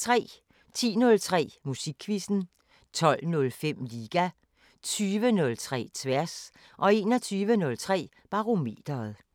10:03: Musikquizzen 12:05: Liga 20:03: Tværs 21:03: Barometeret